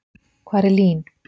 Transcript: Hvar er LÍN?